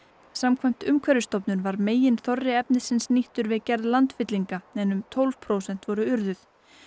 samkvæmt Umhverfisstofnun var meginþorri efnisins nýttur við gerð landfyllinga um tólf prósent voru urðuð